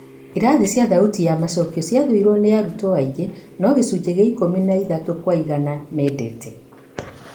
Irathi cia thauti ya macokio cia thũirwo nĩ arutwo aingĩ. No gĩcunjĩ kĩa ikũmi na ithatũ kwa igana mendete.